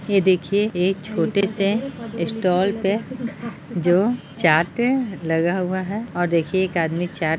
ये देखिऐ एक छोटे से स्टाल पे जो चाट है लगा हुआ है और देखिऐ एक आदमी जो चाट--